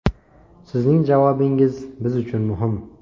Sizning javobingiz biz uchun muhim.